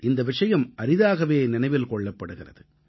இந்த விஷயம் அரிதாகவே நினைவில் கொள்ளப்படுகிறது